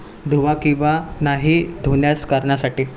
धुवा किंवा नाही धुण्यास करण्यासाठी